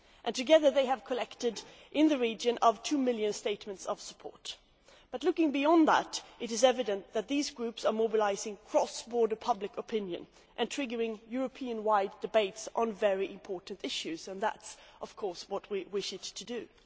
Together, they have collected in the region of 2 million statements of support. But, looking beyond that, it is evident that these groups are mobilising cross border public opinion and triggering Europe wide debates on very important issues and that, of course, is what we wish the initiative to do.